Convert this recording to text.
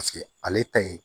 Paseke ale ta ye